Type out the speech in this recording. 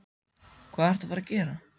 Hvað ertu að fara að gera?